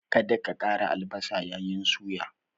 Kada ka ƙara albasa yayin suya!